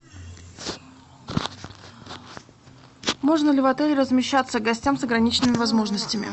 можно ли в отеле размещаться гостям с ограниченными возможностями